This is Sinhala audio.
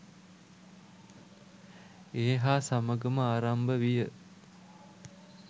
ඒ හා සමගම ආරම්භ විය.